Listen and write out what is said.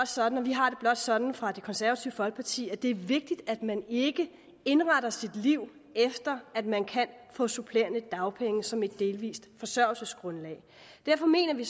sådan og vi har det blot sådan fra det konservative folkepartis side at det er vigtigt at man ikke indretter sit liv efter at man kan få supplerende dagpenge som et delvist forsørgelsesgrundlag derfor mener vi